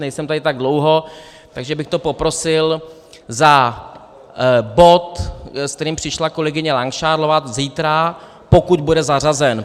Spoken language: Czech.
Nejsem tady tak dlouho, takže bych to poprosil za bod, s kterým přišla kolegyně Langšádlová, zítra, pokud bude zařazen.